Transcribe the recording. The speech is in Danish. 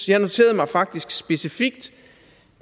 jeg noterede mig faktisk specifikt